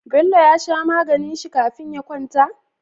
Bello ya sha maganin shi kafin ya kwanta?